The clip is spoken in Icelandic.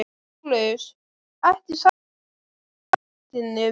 LÁRUS: Ekki sagðirðu þetta í réttinum.